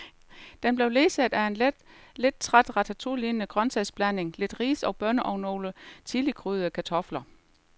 Den blev ledsaget af en lidt træt ratatouillelignende grøntsagsblanding, lidt ris og bønner og nogle chilikrydrede kartofler.